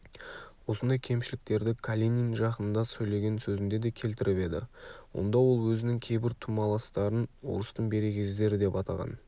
осындай кемшіліктерді калинин жақында сөйлеген сөзінде де келтіріп еді онда ол өзінің кейбір тумаластарын орыстың берекесіздері деп атаған